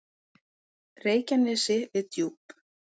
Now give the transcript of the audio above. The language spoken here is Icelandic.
Reykjanesi við Djúp.